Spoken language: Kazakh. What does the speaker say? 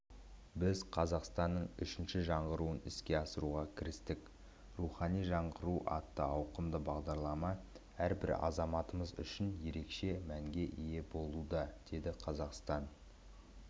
біз қазақстанның үшінші жаңғыруын іске асыруға кірістік рухани жаңғыру атты ауқымды бағдарлама әрбір азаматымыз үшін ерекше мәнге ие болуда деді қазақстан